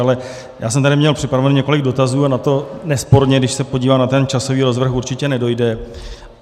Ale já jsem tady měl připraveno několik dotazů a na to nesporně, když se podívám na ten časový rozvrh, určitě nedojde.